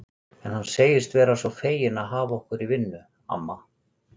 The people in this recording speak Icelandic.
En hann segist vera svo feginn að hafa okkur í vinnu, amma